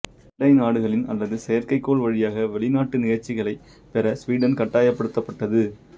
அண்டை நாடுகளின் அல்லது செயற்கை கோள் வழியாக வெளிநாட்டு நிகழ்ச்சிகளைப்பெற ஸ்வீடன் கட்டாயப்படுத்தப்பட்டது